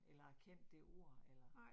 Eller har kendt det ord eller